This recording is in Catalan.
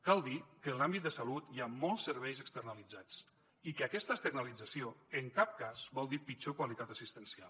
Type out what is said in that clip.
cal dir que en l’àmbit de salut hi ha molts serveis externalitzats i que aquesta externalització en cap cas vol dir pitjor qualitat assistencial